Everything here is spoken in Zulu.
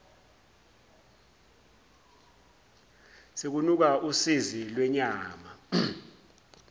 sekunuka usi lwenyama